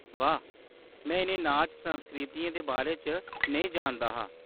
वाह्, में इʼनें नाच संस्कृतियें दे बारे च नेईं जानदा हा।